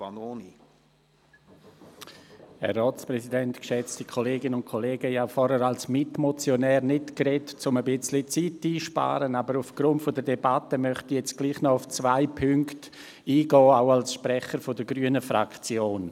Ich habe vorhin als Mitmotionär nicht gesprochen, um ein wenig Zeit einzusparen, aber aufgrund der Debatte möchte ich trotzdem noch auf zwei Punkte eingehen, auch als Sprecher der grünen Fraktion.